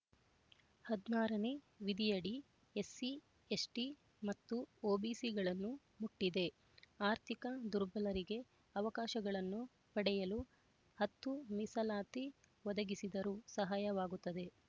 ಹದಿನಾರನೇ ವಿಧಿಯಡಿ ಎಸ್ಸಿಎಸ್ಟಿ ಮತ್ತು ಒಬಿಸಿಗಳನ್ನು ಮುಟ್ಟಿದೆ ಆರ್ಥಿಕ ದುರ್ಬಲರಿಗೆ ಅವಕಾಶಗಳನ್ನು ಪಡೆಯಲು ಹತ್ತು ಮೀಸಲಾತಿ ಒದಗಿಸಿದರು ಸಹಾಯವಾಗುತ್ತದೆ